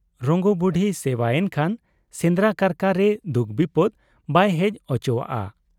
ᱨᱚᱝᱜᱚ ᱵᱩᱰᱦᱤ ᱥᱮᱵᱟ ᱮᱱᱠᱷᱟᱱ ᱥᱮᱸᱫᱽᱨᱟ ᱠᱟᱨᱠᱟ ᱨᱮ ᱫᱩᱠ ᱵᱤᱯᱚᱫᱽ ᱵᱟᱭ ᱦᱮᱡ ᱚᱪᱚᱣᱟᱜ ᱟ ᱾